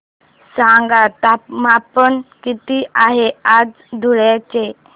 सांगा तापमान किती आहे आज धुळ्याचे